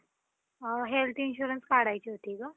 अ Health Insurance काढायची होती गं.